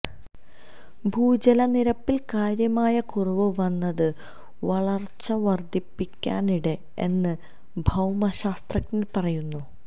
ഭൂജലനിരപ്പില് കാര്യമായ കുറവ് വന്നത് വരള്ച്ച വര്ധിപ്പിക്കാനാണിട എന്ന് ഭൌമശാസ്ത്രജ്ഞര് പറയുന്നു